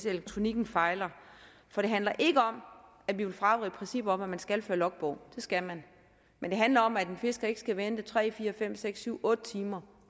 elektronikken fejler det handler nemlig ikke om at vi vil fravige princippet om at man skal føre logbog det skal man men det handler om at en fisker ikke skal vente tre otte timer